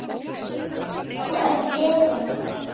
Þú ert hetjan okkar.